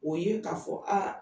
O ye k'a fɔ a